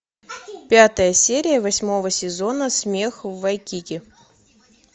пятая серия восьмого сезона смех в вайкики